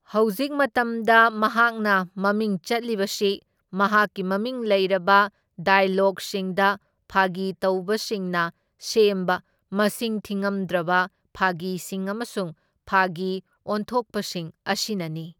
ꯍꯧꯖꯤꯛ ꯃꯇꯝꯗ ꯃꯍꯥꯛꯅ ꯃꯃꯤꯡ ꯆꯠꯂꯤꯕꯁꯤ ꯃꯍꯥꯛꯀꯤ ꯃꯃꯤꯡ ꯂꯩꯔꯕ ꯗꯥꯢꯂꯣꯒꯁꯤꯡꯗ ꯐꯥꯒꯤꯇꯧꯕꯁꯤꯡꯅ ꯁꯦꯝꯕ ꯃꯁꯤꯡ ꯊꯤꯉꯝꯗ꯭ꯔꯕ ꯐꯥꯒꯤꯁꯤꯡ ꯑꯃꯁꯨꯡ ꯐꯥꯒꯤꯑꯣꯟꯊꯣꯛꯄꯁꯤꯡ ꯑꯁꯤꯅꯅꯤ꯫